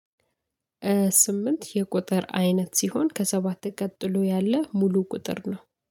ስምንት የቁጥር አይነት ሲሆን ከሰባት ቀጥሎ ያለ ሙሉ ቁጥር ነው።